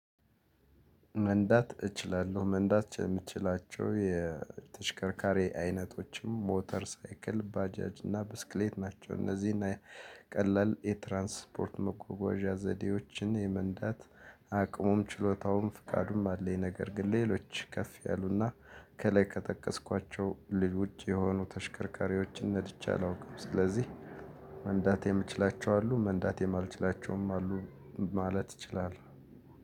መንዳት እችላለሁ መንዳት የምትችላቸው የተሽከርካሪ አይነቶችም ሞተር፣ ሳይክል፣ ባጃጅ እና ብስክሌት ናቸው። እነዚህና ቀላል የትራንስፖርት መጓጓዣ ዘዴዎችን የመንዳት አቅሙም ችሎታውም ፍቃዱም አለኝ ነገር ግን ሌሎች ከፍ ያሉና ከላይ ከጠቀስኳቸው ልጅ ውጭ የሆኑ ተሽከርካሪዎችን ነድቼ አላውቅም ስለዚህ መንዳት የምችላቸው አሉ መንዳት የማልችላቸውም አሉ ማለት እችላለሁ።